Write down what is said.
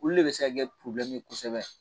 Olu de bɛ se ka kɛ kosɛbɛ